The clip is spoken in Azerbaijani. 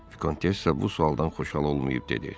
Vikontessa bu sualdan xoşhal olmayıb dedi: